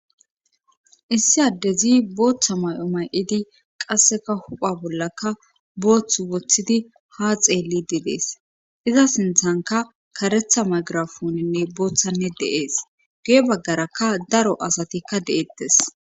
Issi addezi booththa may'o may'idi qasseka hupha bollaka boothth woththidi ha xeelli didees iza sinthanka karetha magirafoninne booththanne de'ees gu'e baggarakka daro asatikka de'eettes.